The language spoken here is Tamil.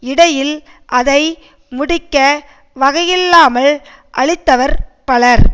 இடையில் அதை முடிக்க வகையில்லாமல் அழிந்தவர் பலர்